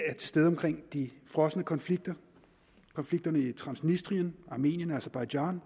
er til stede omkring de frosne konflikter konflikterne i transdnistrien armenien aserbajdsjan